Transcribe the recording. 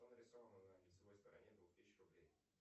что нарисовано на лицевой стороне двух тысяч рублей